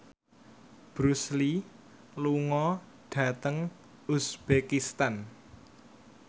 Bruce Lee lunga dhateng uzbekistan